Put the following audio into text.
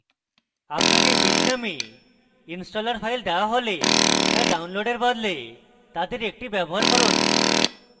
আপনাকে bitnami installer files দেওয়া হলে তা downloading বদলে তাদের একটি ব্যবহার করুন